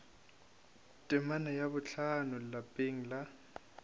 temana ya bohlano lapeng la